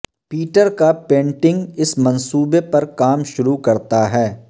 Peter کا painting اس منصوبے پر کام شروع کرتا ہے